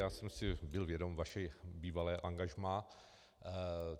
Já jsem si byl vědom vašeho bývalého angažmá.